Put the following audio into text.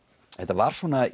þetta var svona